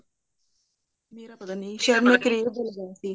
ਮੇਰਾ ਪਤਾ ਨੀ ਸ਼ਾਇਦ ਮੈਂ crave ਦਾ ਬਣਾਇਆ ਸੀ